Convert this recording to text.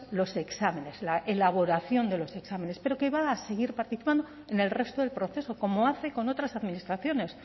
los exámenes la elaboración de los exámenes pero que va a seguir participando en el resto del proceso como hace con otras administraciones